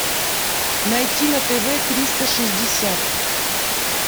найти на тв триста шестьдесят